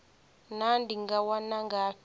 naa ndi nga wana ngafhi